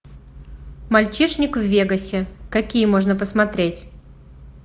мальчишник в вегасе какие можно посмотреть